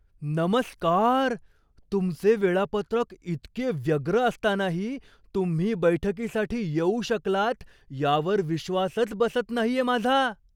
नमस्कार! तुमचे वेळापत्रक इतके व्यग्र असतानाही तुम्ही बैठकीसाठी येऊ शकलात यावर विश्वासच बसत नाहीये माझा!